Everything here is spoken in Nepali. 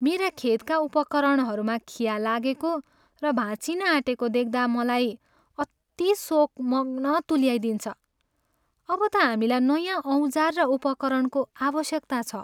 मेरा खेतका उपकरणहरूमा खिया लागेको र भाँचिन आँटेको देख्दा मलाई अति शोकमग्न तुल्याइदिन्छ। अब त हामीलाई नयाँ औजार र उपकरणको आवश्यकता छ।